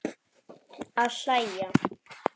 Að hlæja.